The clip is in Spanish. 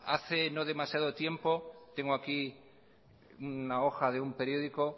hace no demasiado tiempo tengo aquí una hoja de un periódico